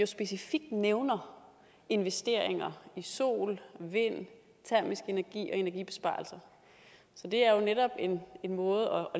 specifikt nævner investeringer i sol vind termisk energi og energibesparelser så det er jo netop en måde